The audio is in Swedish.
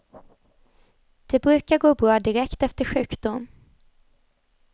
Det brukar gå bra direkt efter sjukdom.